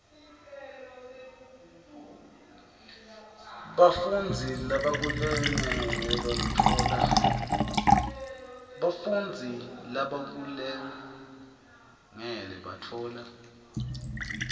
bafundzi labakulungele batfola